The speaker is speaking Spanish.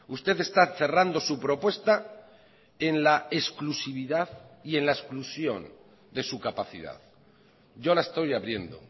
usted está cerrando su propuesta en la exclusividad y en la exclusión de su capacidad yo la estoy abriendo